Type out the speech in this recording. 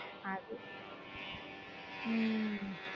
அது உம்